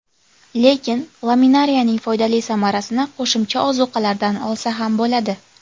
Lekin, laminariyaning foydali samarasini qo‘shimcha ozuqalardan olsa ham bo‘ladi.